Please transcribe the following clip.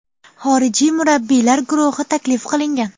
Xorijiy murabbiylar guruhi taklif qilingan.